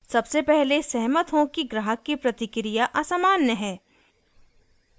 सबसे पहले सहमत हों कि ग्राहक की प्रतिक्रिया असमान्य नहीं है